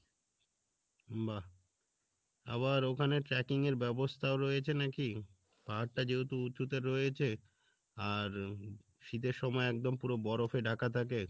বাহ আবার ওখানে tracking এর ব্যবস্থাও রয়েছে নাকি? পাহাড়টা যেহেতু উচুতে রয়েছে আর শীতের সময় একদম পুরো বরফে ঢাকা থাকে